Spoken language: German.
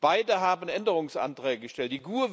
Beide haben Änderungsanträge gestellt.